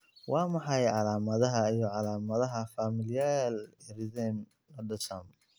Waa maxay calaamadaha iyo calaamadaha Familial erythema nodosum?